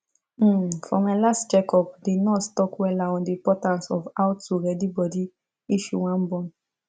um for my last check up the nurse talk wella on the importance of how to ready body if you wan born